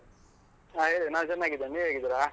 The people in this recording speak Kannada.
ಹಾ ಹೇಳಿ, ನಾನ್ ಚೆನ್ನಾಗಿದ್ದೇನೆ. ನೀವ್ ಹೇಗಿದೀರಾ?